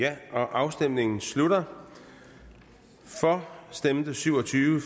afstemningen slutter for stemte syv og tyve